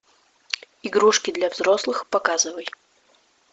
игрушки для взрослых показывай